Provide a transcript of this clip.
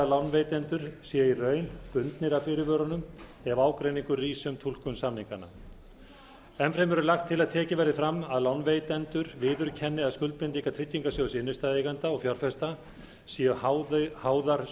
lánveitendur séu í raun bundnir af fyrirvörunum ef ágreiningur rís um túlkun samninganna enn fremur er lagt til að tekið verði fram að lánveitendur viðurkenni að skuldbindingar tryggingarsjóðs innstæðueigenda og fjárfesta séu háðar